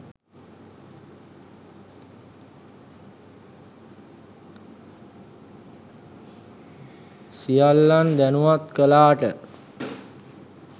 සියල්ලන් දනුවත් කලාට.